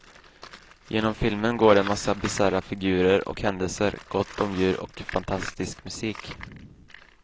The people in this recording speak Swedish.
Genom filmen går en massa bisarra figurer och händelser, gott om djur och fantastisk musik.